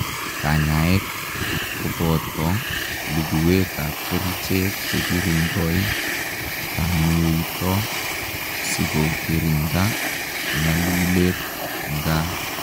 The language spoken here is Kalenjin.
Kanyaet kopotoo luguwet ap kericheet chekirindoi tanuitoo sikokirindaa nyaluleet, ngaa